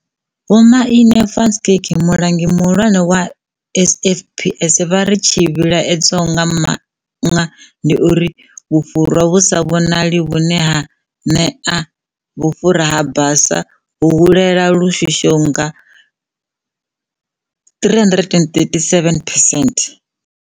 Vho Manie van Schalkwyk, Mulangi muhulwane wa SAFPS, vha ri, Tshi vhilaedzaho nga maanṅa ndi uri vhufhura vhu sa vhonali- vhune ha ṅivhea sa vhufhura ha basa - ho hulela lu shushaho nga 337 percent.